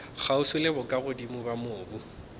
kgauswi le bokagodimo bja mobu